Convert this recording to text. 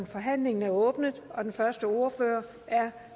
forhandlingen er åbnet den første ordfører er